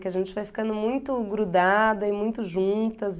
Que a gente vai ficando muito grudada e muito juntas.